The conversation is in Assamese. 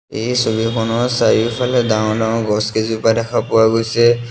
এই ছবিখনৰ চাৰিওফালে ডাঙৰ-ডাঙৰ গছকেইজোপা দেখা পোৱা গৈছে।